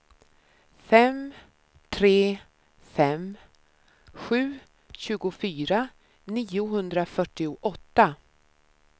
fem tre fem sju tjugofyra niohundrafyrtioåtta